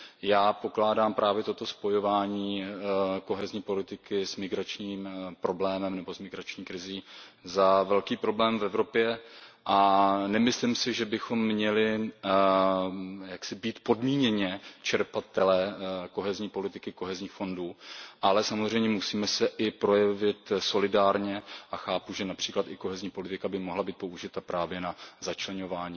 Já pokládám právě toto spojování kohezní politiky s migračním problémem nebo s migrační krizí za velký problém v Evropě. Nemyslím si, že bychom měli být podmíněně čerpatelé kohezní politiky, kohezních fondů, ale samozřejmě se musíme i projevit solidárně a chápu, že například i kohezní politika by mohla být použita právě na začleňování